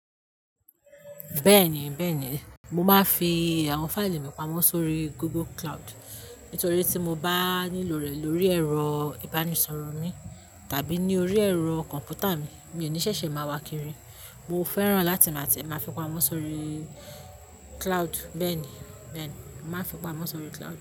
Bẹ́ẹ̀ni, bẹ́ẹ̀ni, mo máa ń fi àwọn fáìlì mi pamọ́ sórí Google Cloud. Nítorí tí mo bá nílò rẹ̀ lórí ẹ̀rọ ìbánisọ̀rọ̀ mi tàbí ní orí ẹ̀rọ kọ̀m̀pútà mi, mi ò ní ṣẹ̀ṣẹ̀ máa wá kiri. Mo fẹ́ràn lá tie máa tie máa fi pamọ́ sórí cloud. Bẹ́ẹ̀ni, bẹ́ẹ̀ni, mo màá n fi pamọ́ sórí cloud.